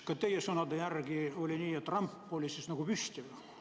Kas teie sõnade järgi oli nii, et ramp oli püsti?